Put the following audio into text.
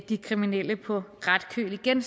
de kriminelle på ret køl igen